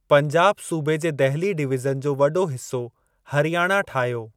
पंजाब सूबे जे दहिली डिवीज़न जो वॾो हिसो हरियाणा ठाहियो।